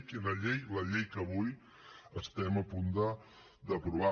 quina llei la llei que avui estem a punt d’aprovar